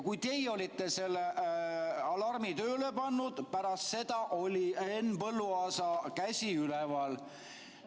Kui teie olite selle alarmi tööle pannud, pärast seda oli Henn Põlluaasa käsi üleval.